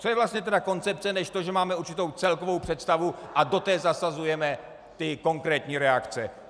Co je vlastně tedy koncepce než to, že máme určitou celkovou představu a do té zasazujeme ty konkrétní reakce?